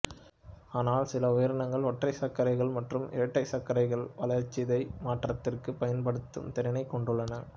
ஆனால் சில உயிரினங்களில் ஒற்றைச்சர்க்கரைகள் மற்றும் இரட்டைச்சர்க்கரைகள் வளர்சிதை மாற்றத்திற்கு பயன்படுத்தும் திறனைக் கொண்டுள்ளன